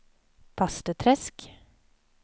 Bastuträsk